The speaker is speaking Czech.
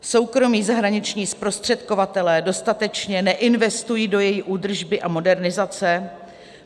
Soukromí zahraniční zprostředkovatelé dostatečně neinvestují do její údržby a modernizace.